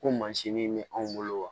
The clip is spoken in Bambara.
Ko mansin bɛ anw bolo wa